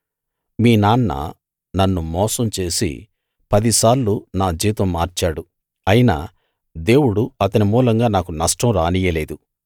మీ నాన్న నన్ను మోసం చేసి పది సార్లు నా జీతం మార్చాడు అయినా దేవుడు అతని మూలంగా నాకు నష్టం రానియ్యలేదు